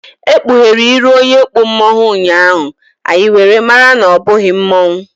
E kpughere iru onye kpụ mmonwu ụnyaahụ, anyị were mara na ọ bụghị mmuo